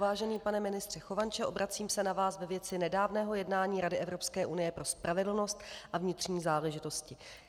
Vážený pane ministře Chovanče, obracím se na vás ve věci nedávného jednání Rady Evropské unie pro spravedlnost a vnitřní záležitosti.